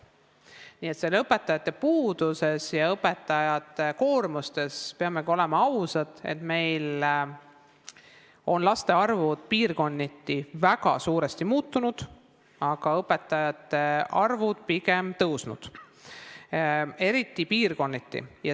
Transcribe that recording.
Nii et õpetajate puudusest ja õpetajate koormusest rääkides peame olema ausad, meil on laste arv piirkonniti väga suuresti muutunud, aga õpetajate arv on pigem suurenenud, eriti mõnes piirkonnas.